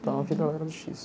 Então, a vida lá era difícil.